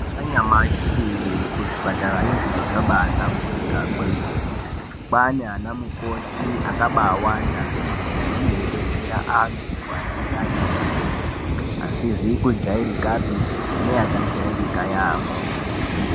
Anyamshi kuzvipatarayo zviro zvabaahlamburuka kwemene kwaana namukoti akabaawanda kwemene anenge eibetserw antu anenge aine matenda asizi kujairika pi neakajairika yaamho.